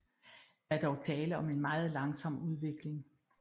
Der er dog tale om en meget langsom udvikling